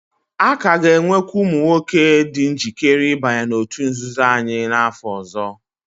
A ka ga-enwekwu ụmụ nwoke dị njikere ịbanye n'òtù nzuzo anyị n'afọ ọzọ.